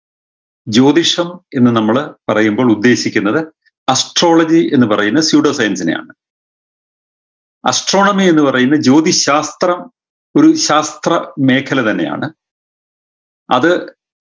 ജ്യോതിഷം എന്ന് നമ്മള് പറയുമ്പോൾ ഉദ്ദേശിക്കുന്നത് astrology എന്ന് പറയുന്ന pseudoscience നെയാണ് astronomy എന്ന് പറയുന്ന ജ്യോതിശാസ്ത്രം ഒരു ശാസ്ത്രമേഖല തന്നെയാണ് അത്